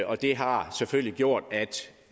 og det har selvfølgelig gjort at